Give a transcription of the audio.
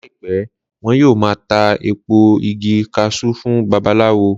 Láìpẹ́, wọn yóò ma ta èpo igi kaṣú fún babaláwo